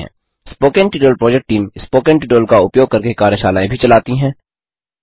spoken tutorial project team spoken tutorial का उपयोग करके कार्यशालाएँ भी चलाती है